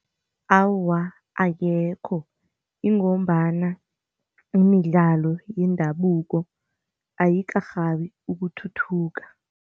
Awa, akekho. Ingombana imidlalo yendabuko ayikarhabi ukuthuthuka.